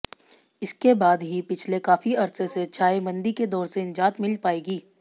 इसके बाद ही पिछले काफी अरसे से छाए मंदी के दौर से निजात मिल पाएगी